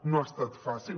no ha estat fàcil